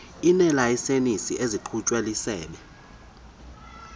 ineelayisenisi ezikhutshwe lisebe